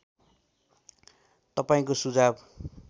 तपाईँको सुझाव